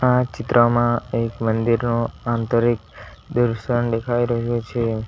આ ચિત્રમાં એક મંદિરનો આંતરિક દર્શન દેખાઈ રહ્યો છે.